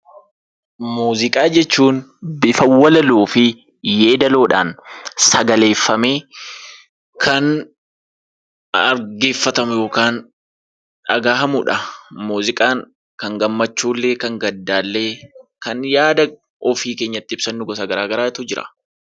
Muuziqaa jechuun bifa walaloo fi yeedaloodhaan sagaleeffamee kan dhaggeeffatamu yookaan dhagahamu dha. Muuziqaan kan gammachuullee, kan gaddaallee, kan yaada ofii keenya itti ibsannu gosa garaagaraatu jira.